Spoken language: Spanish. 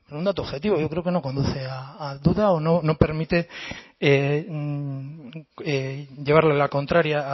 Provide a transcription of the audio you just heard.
un dato objetivo yo creo que no conduce a duda o no permite llevarle la contraria